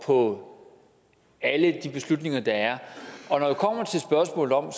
på alle de beslutninger der er og når det kommer til spørgsmålet om